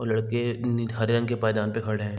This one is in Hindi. वो लड़के हरे रंग के पायदान पे खड़े हैं।